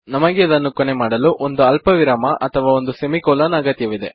ನಮಗೆ ಇದನ್ನು ಕೊನೆ ಮಾಡಲು ಒಂದು ಅಲ್ಪವಿರಾಮ ಅಥವಾ ಒಂದು ಸೆಮಿ ಕೊಲನ್ ನ ಅಗತ್ಯವಿದೆ